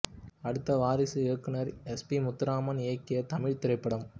அடுத்த வாரிசு இயக்குனர் S P Muthuraman இயக்கிய தமிழ்த் திரைப்படம்